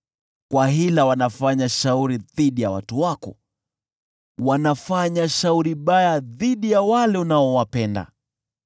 Kwa hila, wanafanya shauri dhidi ya watu wako, wanafanya shauri baya dhidi ya wale unaowapenda.